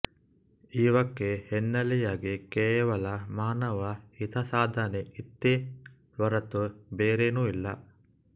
ಇವಕ್ಕೆ ಹಿನ್ನೆಲೆಯಾಗಿ ಕೇವಲ ಮಾನವ ಹಿತಸಾಧನೆ ಇತ್ತೇ ಹೊರತು ಬೇರೇನೂ ಇಲ್ಲ